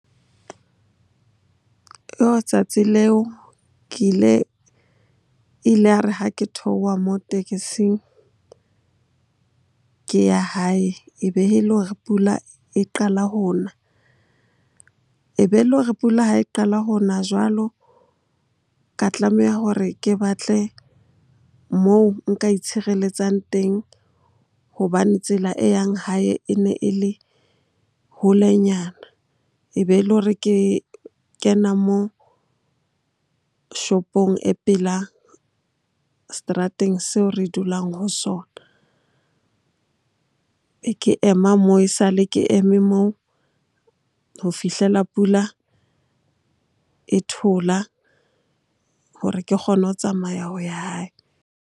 Tsatsi leo ke ile, e ile ya re ha ke theoha mo tekesing ke ya hae ebe e le hore pula e qala ho na. Ebe e le hore pula ha e qala ho na jwalo, ka tlameha hore ke batle moo nka itshireletsang teng hobane tsela e yang hae e ne e le holenyana. Ebe e le hore ke kena moo shopong e pela seterateng seo re dulang ho sona. Ke ema moo, esale ke eme moo ho fihlela pula e thola hore ke kgone ho tsamaya ho ya hae.